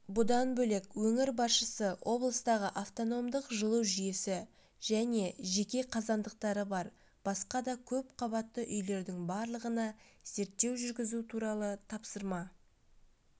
бұдан бөлек өңір басшысы облыстағы автономдық жылу жүйесі және жеке қазандықтары бар басқа да көпқабатты үйлердің барлығына зерттеу жүргізу туралы тапсырма